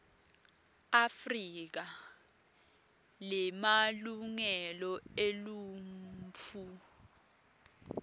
afrika lemalungelo eluntfu